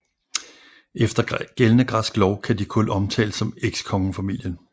Efter gældende græsk lov kan de kun omtales som ekskongefamilien